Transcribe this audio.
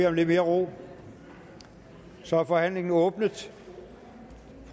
om lidt mere ro så er forhandlingen åbnet